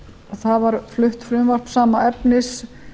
það var flutt frumvarp sama efnis